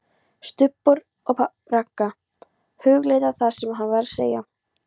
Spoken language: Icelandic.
STUBBUR OG RAGGA, hugleiðir það sem hún var að segja.